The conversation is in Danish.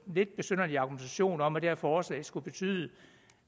lidt besynderlig argumentation om at det her forslag skulle betyde